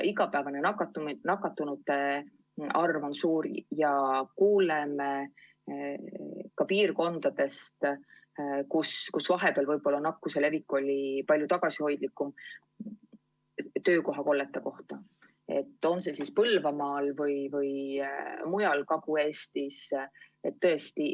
Igapäevane nakatunute arv on suur ja kuuleme ka piirkondadest, kus vahepeal oli nakkuse levik palju tagasihoidlikum, nüüd aga on tekkinud töökohakoldeid – on see siis Põlvamaal või mujal Kagu-Eestis.